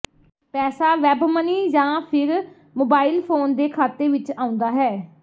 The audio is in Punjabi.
ਪੈਸਾ ਵੈਬਮਨੀ ਜਾਂ ਫਿਰ ਮੋਬਾਈਲ ਫੋਨ ਦੇ ਖਾਤੇ ਵਿਚ ਆਉਂਦਾ ਹੈ